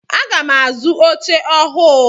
Aga m azu oche ọhụụ.